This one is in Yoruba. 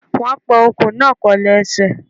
Wón pa ọkùn náà pẹ̀lú ẹsẹ̀